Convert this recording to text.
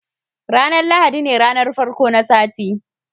ranar lahadi ne ranar farko na sati